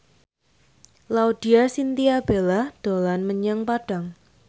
Laudya Chintya Bella dolan menyang Padang